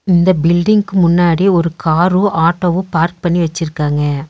இந்த பில்டிங்க்கு முன்னாடி ஒரு காரு ஆட்டோவு பார்க் பண்ணி வெச்சிருக்காங்க.